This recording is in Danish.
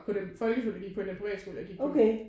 På den folkeskole jeg gik på end den privatskole jeg gik på